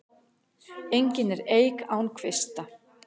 Engin er eik án kvista.